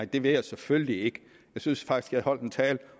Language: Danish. det vil jeg selvfølgelig ikke jeg synes faktisk at jeg holdt en tale